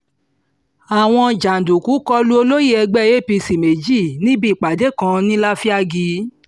àwọn jàǹdùkú kọ lu olóyè ẹgbẹ́ cs] apc méjì níbi ìpàdé kan ní láfíàgì